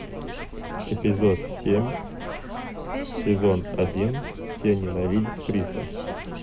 эпизод семь сезон один все ненавидят криса